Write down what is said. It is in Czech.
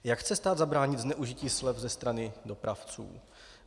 Jak chce stát zabránit zneužití slev ze strany dopravců?